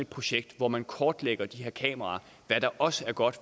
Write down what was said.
projekt hvor man kortlægger de her kameraer hvad der også er godt